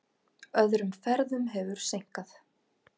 Öðrum ferðum hefur seinkað.